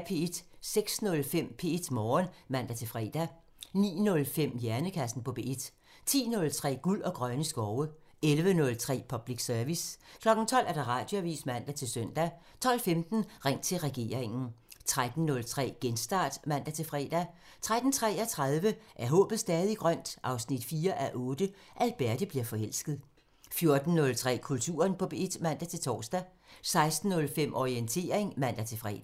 06:05: P1 Morgen (man-fre) 09:05: Hjernekassen på P1 10:03: Guld og grønne skove 11:03: Public Service 12:00: Radioavisen (man-søn) 12:15: Ring til regeringen 13:03: Genstart (man-fre) 13:33: Er håbet stadig grønt? 4:8 – Alberte bliver forelsket 14:03: Kulturen på P1 (man-tor) 16:05: Orientering (man-fre)